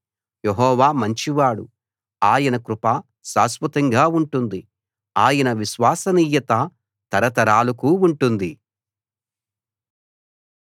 యెహోవా మంచివాడు ఆయన కృప శాశ్వతంగా ఉంటుంది ఆయన విశ్వసనీయత తరతరాలకు ఉంటుంది